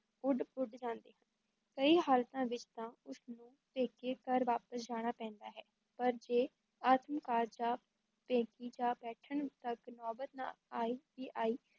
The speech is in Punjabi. ਉੱਡ-ਪੁਡ ਜਾਂਦੇ ਹਨ, ਕਈ ਹਾਲਤਾਂ ਵਿਚ ਤਾਂ ਉਸ ਨੂੰ ਪੇਕੇ ਘਰ ਵਾਪਸ ਜਾਣਾ ਪੈਂਦਾ ਹੈ ਪਰ ਜੇ ਆਤਮਘਾਤ ਜਾਂ ਪੇਕੀ ਜਾ ਬੈਠਣ ਤਕ ਨੋਬਤ ਨਾ ਆਈ, ਵੀ ਆਈ